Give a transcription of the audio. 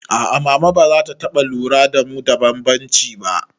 A'a mama bazata taɓa lura da mu da bambanci ba